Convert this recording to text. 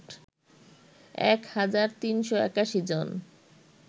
১ হাজার ৩৮১ জন